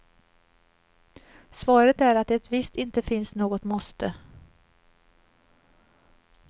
Svaret är att det visst inte finns något måste.